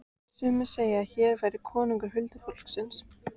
Sumir segðu að hér væri konungur huldufólksins.